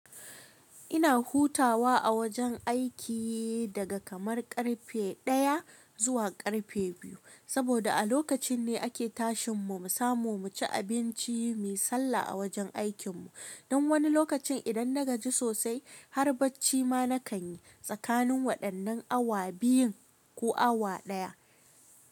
Ina hutawa a wajen aiki daga kamar karfe 1:00 zuwa karfe 2:00, saboda a lokacin ne ake tashin mu, mu samu mu ci abinci mu sallah a wajen aikin mu. Don wani lokacin idan na gaji sosai har bacci ma na kan yi tsakanin waɗannan awa biyun ko awa ɗaya.